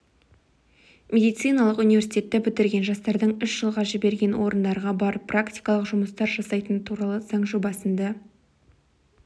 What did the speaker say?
медициналық университетті бітірген жастардың үш жылға жіберген орындарға барып практикалық жұмыстар жасайтыны туралы заң жобасында